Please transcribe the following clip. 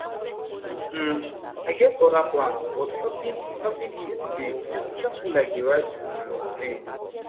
um i get other plans but helping helping him today just feel like the right um thing